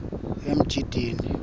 emjindini